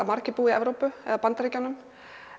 margir búa í Evrópu eða Bandaríkjunum